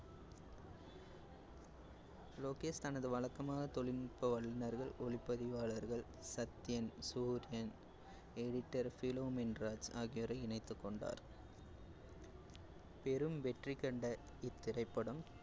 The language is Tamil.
லோகேஷ் தனது வழக்கமான தொழில்நுட்ப வல்லுநர்கள், ஒளிப்பதிவாளர்கள், சத்யன், சூரியன், editor ஃபிலோமின் ராஜ் ஆகியோரை இணைத்துக் கொண்டார் பெரும் வெற்றி கண்ட இத்திரைப்படம்